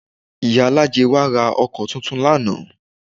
Ìyálájé wa ra ọkọ tuntun lánàá